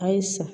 A ye sa